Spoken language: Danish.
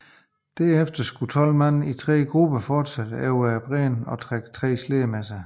Derefter skulle 12 mænd i tre grupper fortsætte op over bræen og trække slæderne selv